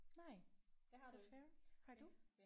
Nej desværre. Har du?